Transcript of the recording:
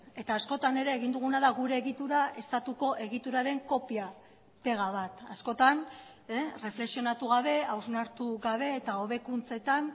eta askotan ere egin duguna da gure egitura estatuko egituraren kopia pega bat askotan erreflexionatu gabe hausnartu gabe eta hobekuntzetan